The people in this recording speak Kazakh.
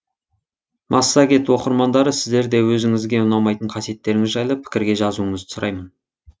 массагет оқырмандары сіздер де өзіңізге ұнамайтын қасиеттеріңіз жайлы пікірге жазуыңызды сұраймын